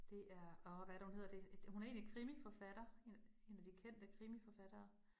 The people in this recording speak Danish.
Det er åh hvad er det hun hedder, det hun er egentlig krimiforfatter, en en af de kendte krimiforfattere